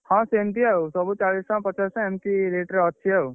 ହଁ ସେମତି ଆଉ, ସବୁ ଚାଳିଶ ଟଙ୍କା ପଚାଶ ଟଙ୍କା ଏମତି rate ରେ ଅଛି ଆଉ।